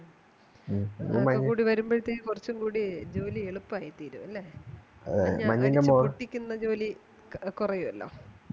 ഉം കൂടി വരുമ്പഴ്ത്തേന് കുറച്ചും കൂടി ജോലി എളുപ്പായിത്തീരും അല്ലെ ന്ന ജോലി കുറയുവല്ലോ